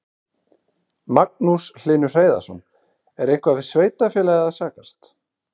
Magnús Hlynur Hreiðarsson: Er eitthvað við sveitarfélagið að sakast?